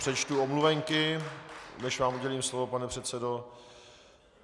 Přečtu omluvenky, než vám udělím slovo, pane předsedo.